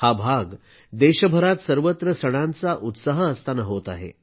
हा भाग देशभरात सर्वत्र सणांचा उत्साह असताना होत आहे